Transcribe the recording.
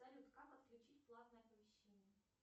салют как отключить платное оповещение